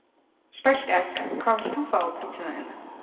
Spælt egg Hvað vilt þú fá á pizzuna þína?